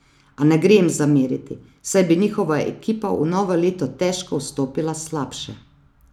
A ne gre jim zameriti, saj bi njihova ekipa v novo leto težko vstopila slabše.